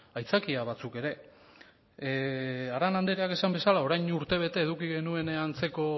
aitzakia batzuk ere arana andreak esan bezala orain urtebete eduki genuen